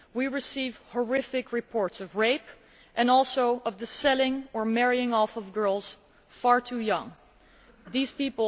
We receive horrific reports of rape, and also of the selling or marrying off of girls far too young to marry.